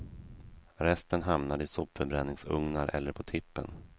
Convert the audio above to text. Resten hamnar i sopförbränningsugnar eller på tippen.